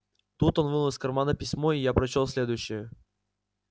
тут он вынул из кармана письмо и я прочёл следующее